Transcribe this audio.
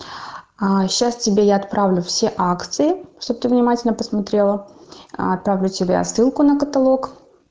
а сейчас тебе я отправлю все акции чтоб ты внимательно посмотрела отправлю тебе ссылку на каталог